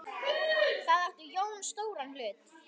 Þar átti Jón stóran hlut.